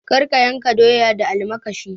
Kar ka yanka doya da almakashi.